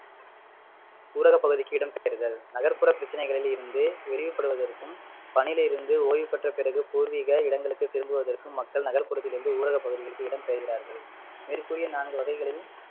ஊரகப்பகுதிக்கு இடம் பெயர்தல் நகர்ப்புற பிரச்சினைகளில் இருந்து படுவதற்கும் பணியிலிருந்து ஓய்வு பெற்ற பிறகு பூர்வீக இடங்களுக்கு திரும்புவதற்கும் மக்கள் நகர்ப்புறத்திலிருந்து ஊரகப்பகுதிகளுக்கு இடம்பெயர்கிறார்கள் மேற்கூறிய நான்கு வகைகளில்